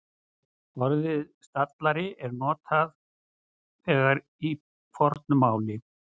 Orðið stallari er notað þegar í fornu máli.